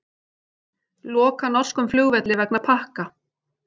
Loka norskum flugvelli vegna pakka